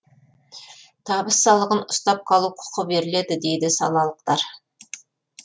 табыс салығын ұстап қалу құқы беріледі дейді салалықтар